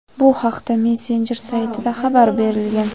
Bu haqda messenjer saytida xabar berilgan.